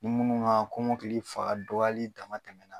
Ni minnu ka kɔmɔkili fangadɔgɔyali dama tɛmɛna.